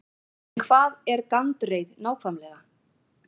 En hvað er gandreið nákvæmlega?